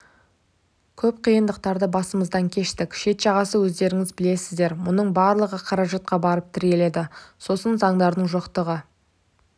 көп қиындықтарды басымыздан кештік шет жағасын өздеріңіз білесіздер мұның барлығы қаражатқа барып тірелді сосын заңдардың жоқтығы